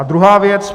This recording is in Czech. A druhá věc.